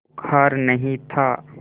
बुखार नहीं था